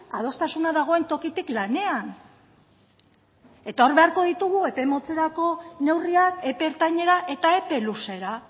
adostasuna dagoen tokitik lanean hor beharko ditugu epe motzerako neurriak epe ertainera eta epe luzera